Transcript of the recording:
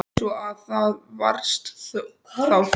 Svo. að það varst þá þú?